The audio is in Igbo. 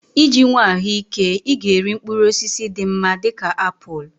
Iji nwee ahụike, ị ga-eri mkpụrụ osisi dị mma dị ka apụl.